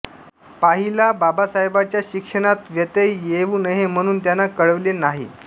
पाहिला बाबासाहेबांच्या शिक्षणात व्यत्यय येऊ नये म्हणून त्यांना कळविले नाही